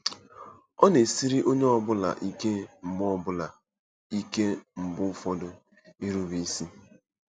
Ọ na-esiri onye ọ bụla ike mgbe bụla ike mgbe ụfọdụ irube isi.